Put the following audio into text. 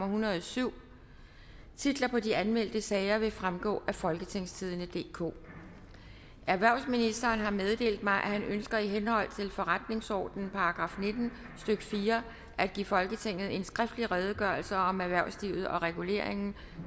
hundrede og syv titlerne på de anmeldte sager vil fremgå af folketingstidende DK erhvervsministeren har meddelt mig at han ønsker i henhold til forretningsordenens § nitten stykke fire at give folketinget en skriftlig redegørelse om erhvervslivet og reguleringen